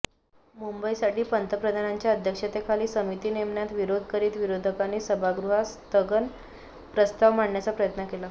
मुंबईसाठी पंतप्रधानांच्या अध्यक्षतेखाली समिती नेमण्यात विरोध करीत विरोधकांनी सभागृहात स्थगन प्रस्ताव मांडण्याचा प्रयत्न केला